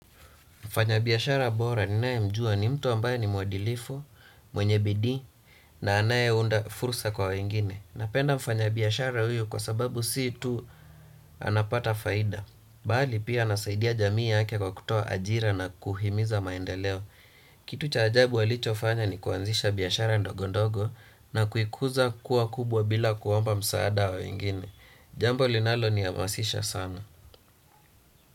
Mfanyi biashara bora ninae mjua ni mtu ambaye ni muadilifu, mwenye bidii na anaye unda fursa kwa wengine. Napenda mfanya biashara huyu kwasababu si tu anapata faida. Bali pia anasaidia jamii yake kwa kutoa ajira na kuhimiza maendeleo. Kitu cha ajabu walicho fanya ni kuanzisha biashara ndogondogo na kuikuza kuwa kubwa bila kuomba msaada wa wengine. Jambo linalo ni amasisha sana.